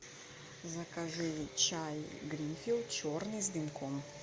закажи чай гринфилд черный с дымком